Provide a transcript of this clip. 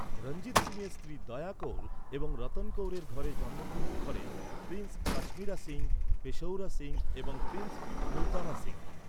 রঞ্জিত সিংয়ের স্ত্রী দয়া কৌর এবং রতন কৌরের ঘরে জন্মগ্রহণ করেন প্রিন্স কাশ্মীরা সিং, পেশউরা সিং এবং প্রিন্স মুলতানা সিং।